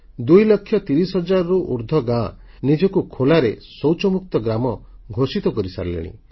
2 ଲକ୍ଷ 30 ହଜାରରୁ ଉର୍ଦ୍ଧ୍ବ ଗାଁ ବର୍ତ୍ତମାନ ସୁଦ୍ଧା ନିଜ ନିଜକୁ ଖୋଲାଶୌଚମୁକ୍ତ ଗ୍ରାମ ଘୋଷିତ କରିସାରିଲେଣି